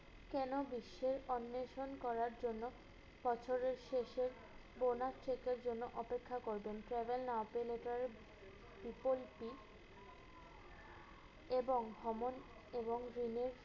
কেনো বিশ্বের অন্বেষণ করার জন্য বছরের শেষে bonus check এর জন্য অপেক্ষা করবেন? Travel আপিল letter এ equal C এবং ভ্রমণ এবং greenish